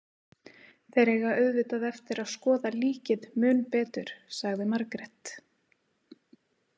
Þeir eiga auðvitað eftir að skoða líkið mun betur, sagði Margrét.